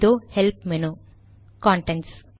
இதோ help menu Contents